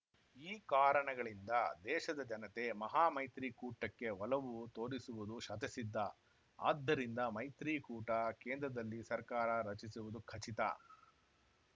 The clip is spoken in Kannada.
ಈ ಕಾರಣಗಳಿಂದ ದೇಶದ ಜನತೆ ಮಹಾಮೈತ್ರಿ ಕೂಟಕ್ಕೆ ಒಲವು ತೋರಿಸುವುದು ಶತಸಿದ್ಧ ಆದ್ದರಿಂದ ಮೈತ್ರಿ ಕೂಟ ಕೇಂದ್ರದಲ್ಲಿ ಸರ್ಕಾರ ರಚಿಸುವುದು ಖಚಿತ